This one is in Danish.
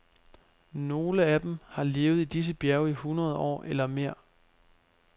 Nogle af dem har levet i disse bjerge i hundrede år eller mere.